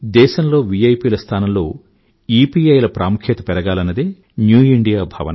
దేశంలో విఐపి ల స్థానంలో ఇపిఐ ల ప్రాముఖ్యం పెరగాలన్నదే న్యూ ఇండియా భావన